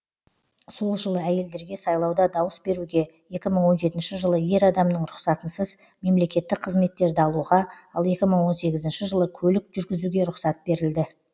сол жылы әйелдерге сайлауда дауыс беруге екі мың он жетінші жылы ер адамның рұқсатынсыз мемлекеттік қызметтерді алуға ал екі мың он сегізінші жылы көлік жүргізуге рұқсат берілді